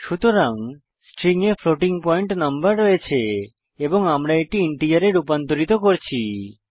সুতরাং স্ট্রিং এ floating point number রয়েছে এবং আমরা এটি ইন্টিজারে রুপান্তরিত করছি